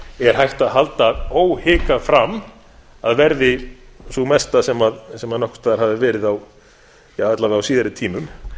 er hægt að halda óhikað fram að verði sú mesta sem nokkurs staðar hafi verið ja alla vega á síðari tímum